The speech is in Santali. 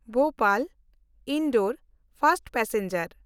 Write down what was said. ᱵᱷᱳᱯᱟᱞ–ᱤᱱᱫᱳᱨ ᱯᱷᱟᱥᱴ ᱯᱮᱥᱮᱧᱡᱟᱨ